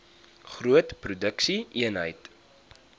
groot produksie eenhede